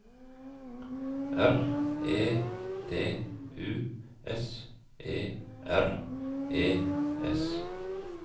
R E D U S E R E S